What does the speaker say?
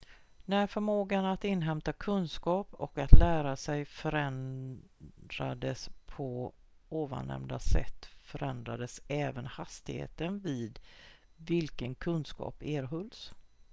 när förmågan att inhämta kunskap och att lära sig förändrades på ovannämnda sätt förändrades även hastigheten vid vilken kunskap erhölls